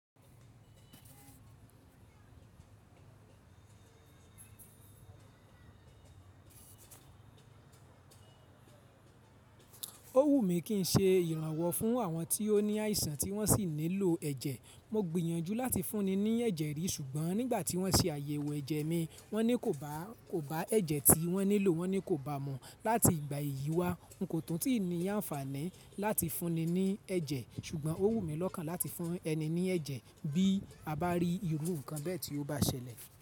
Ó wù mí kí n ṣe ìrànwọ́ fún àwọn tí ó ní àìsàn tí wọ́n sì nílò ẹ̀jẹ̀. Mo gbìyànjú láti fún ni ní ẹ̀jẹ̀ rí, ṣùgbọ́n nígbà tí wọ́n ṣe àyẹ̀wò ẹ̀jẹ̀ mi, wọ́n ní kò bá kò bá ẹ̀jẹ̀ tí wọ́n nílò, wọ́n ní kò bá mu. Láti ìgbà yìí wá, n kò tún ti ní àǹfààní láti fún ni ní ẹ̀jẹ̀. Ṣùgbọ́n ó wù mí lọ́kàn láti fún ẹni ní ẹ̀jẹ̀ bí a bá rí irú nǹkan bẹ́ẹ̀ tí ó bá ṣẹlẹ̀